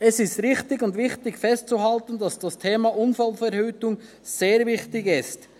Es ist richtig und wichtig festzuhalten, dass das Thema Unfallverhütung sehr wichtig ist.